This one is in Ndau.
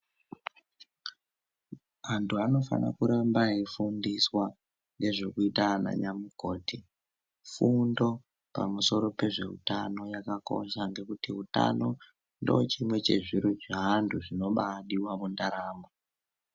Antu anofane kuramba eifundiswa ngezvirikuita ananyamukoti. Fundo pamusoro pezveutano yakakosha ngekuti ndochimwe chezviro zvaantu zvinobaadiwa mundaramo.